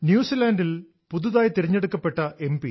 ന്യൂസിലാന്റിൽ പുതുതായി തിരഞ്ഞെടുക്കപ്പെട്ട എം